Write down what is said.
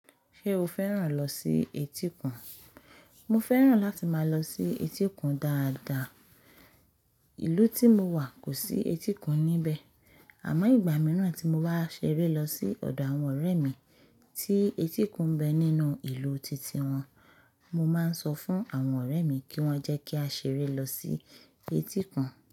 Ṣé o fẹ́ràn lọ sí etíkun? Mo fẹ́ràn láti máa lọ sí etíkun dáadáa. Ìlú tí mo wà kò sí etíkun níbẹ̀. Àmọ́ ìgbà mìíràn tí mo bá ṣeré lọ sí ọ̀dọ̀ àwọn ọ̀rẹ́ mi tí etíkun ń bẹ nínú ìlú titi wọn, mo máa ń sọ fún àwọn ọ̀rẹ́ mi kí wọ́n jẹ́ kí á ṣeré lọ sí etíkun.